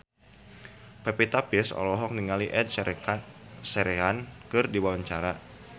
Pevita Pearce olohok ningali Ed Sheeran keur diwawancara